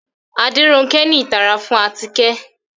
Aderonke ni itara fun atike